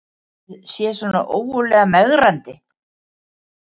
Ætli það sé svona ógurlega megrandi